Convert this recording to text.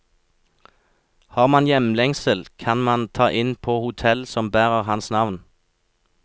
Har man hjemlengsel, kan man ta inn på hotellet som bærer hans navn.